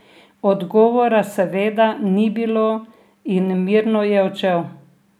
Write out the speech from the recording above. Odgovora seveda ni bilo in mirno je odšel.